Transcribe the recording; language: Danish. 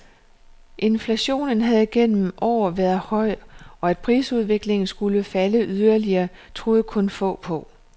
Inflationen havde gennem år været høj, og at prisudviklingen skulle falde yderligere, troede kun få på.